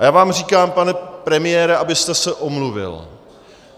A já vám říkám, pane premiére, abyste se omluvil.